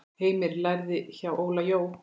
Heimir lærði hjá Óla Jó.